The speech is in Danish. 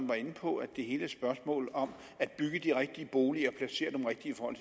var inde på at det hele er et spørgsmål om at bygge de rigtige boliger og placere dem rigtigt i forhold